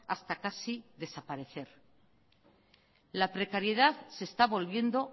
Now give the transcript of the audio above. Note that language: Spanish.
hasta casi desaparecer la precariedad se está volviendo